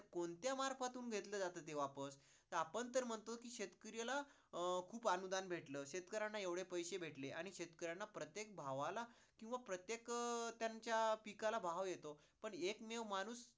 कोणत्या मर्फातून घेतल जात ते वापस. तर आपण तर म्हणतो कि शेतकऱ्याला अं खूप अनुदान्न भेटल, शेतकऱ्याला एवढे पैसे भेटले आणि शेतकऱ्याला प्रत्येक भावाला, किंवा प्रत्येक अं त्यांच्या पिकाला भाव येतो, पण एक मेव माणूस